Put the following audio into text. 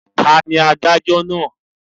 Ta ni adájọ́ náà.